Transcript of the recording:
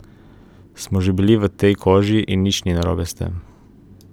Smo že bili v tej koži in nič ni narobe s tem.